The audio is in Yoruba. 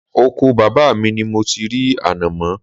Oko bàbá mi ni mo ti rí ànàmọ́